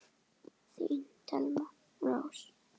Þín Thelma Rós.